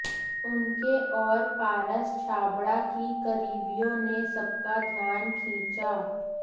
उनके और पारस छाबड़ा की करीबियों ने सबका ध्यान खींचा